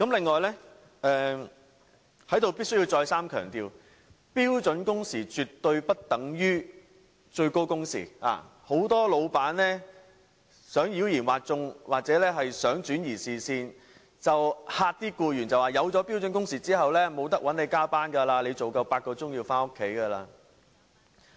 我在此必須再三強調，標準工時絕對不等於最高工時，很多老闆想妖言惑眾，又或想轉移視線，恐嚇僱員設立標準工時之後便無法找他們加班，僱員工作滿8小時便要回家。